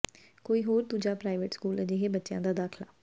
ਕੋਈ ਹੋਰ ਦੂਜਾ ਪ੍ਰਾਈਵੇਟ ਸਕੂਲ ਅਜਿਹੇ ਬੱਚਿਆਂ ਦਾ ਦਾਖਲਾ